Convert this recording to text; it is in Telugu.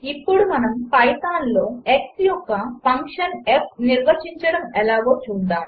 ఇప్పుడు మనము పైథాన్లో x యొక్క ఫంక్షన్ f నిర్వచించడం ఎలాగో చూద్దాము